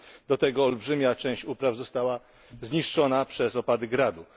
Do tego olbrzymia część upraw została zniszczona przez opady gradu.